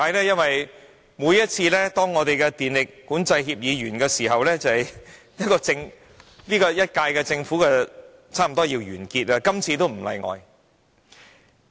因為每次當我們的電力管制協議有效期屆滿時，便是政府差不多換屆的時候，今次也不例外。